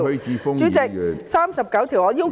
《議事規則》第39條......